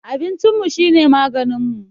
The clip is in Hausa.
Abincinmu shine maganinmu